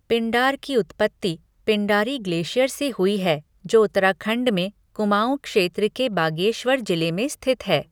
पिंडार की उत्पत्ति पिंडारी ग्लेशियर से हुई है जो उत्तराखंड में कुमाऊं क्षेत्र के बागेश्वर जिले में स्थित है।